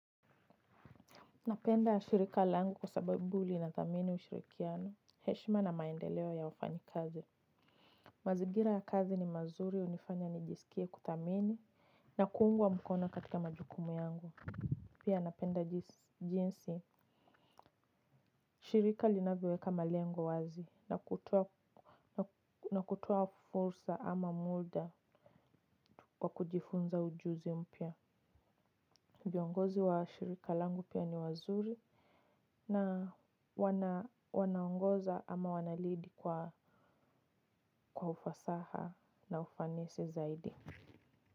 Napenda shirika langu kwa sababu linathamini ushirikiano. Heshima na maendeleo ya wafanyi kazi. Mazingira ya kazi ni mazuri hunifanya nijisikie kuthamini na kuungwa mkono katika majukumu yangu. Pia napenda jinsi, shirika linavyoweka malengo wazi na kutoa fursa ama muda kwa kujifunza ujuzi mpya. Viongozi wa shirika langu pia ni wazuri na wanaongoza ama wanalead kwa ufasaha na ufanisi zaidi.